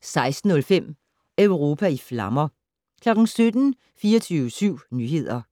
16:05: Europa i flammer 17:00: 24syv Nyheder